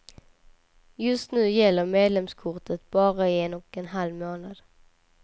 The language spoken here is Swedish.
Just nu gäller medlemskortet bara i en och en halv månad.